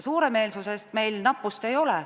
Suuremeelsusest meil nappust ei ole.